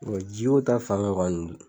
ji o ta fanfɛ kɔni.